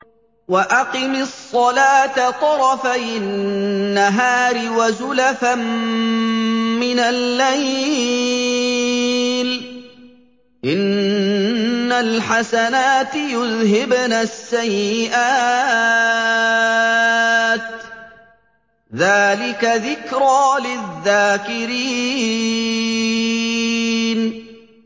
وَأَقِمِ الصَّلَاةَ طَرَفَيِ النَّهَارِ وَزُلَفًا مِّنَ اللَّيْلِ ۚ إِنَّ الْحَسَنَاتِ يُذْهِبْنَ السَّيِّئَاتِ ۚ ذَٰلِكَ ذِكْرَىٰ لِلذَّاكِرِينَ